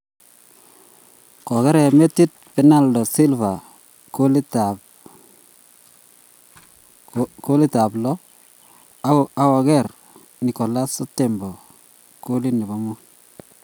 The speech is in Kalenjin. Kokeree metit Bernardo Silva kolitab lo akoker Nicholas Otamendi kolit nebo muut .